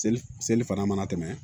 Seli seli fana mana tɛmɛ